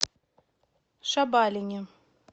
шабалине